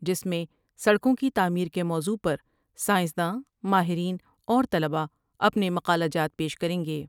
جس میں سڑکوں کی تعمیر کے موضوع پر سائنسداں ، ماہرین اور طلباءاپنے مقالہ جات پیش کر یں گے ۔